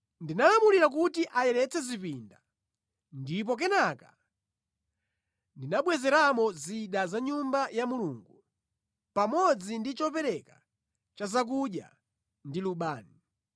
Ndinalamulira kuti ayeretse zipinda, ndipo kenaka ndinabwezeramo zida za mʼNyumba ya Mulungu, pamodzi ndi chopereka cha zakudya ndi lubani.